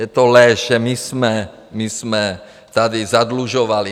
Je to lež, že my jsme tady zadlužovali.